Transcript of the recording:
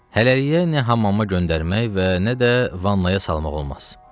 Hələlik nə hamama göndərmək və nə də vannaya salmaq olmaz.